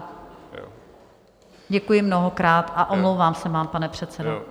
Děkuji mnohokrát a omlouvám se vám, pane předsedo.